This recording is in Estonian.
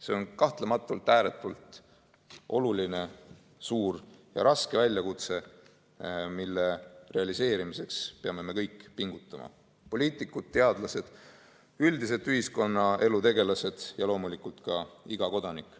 See on kahtlematult ääretult oluline, suur ja raske väljakutse, millega hakkama saamiseks peame me kõik pingutama – poliitikud, teadlased, üldiselt ühiskonnaelu tegelased ja loomulikult ka iga kodanik.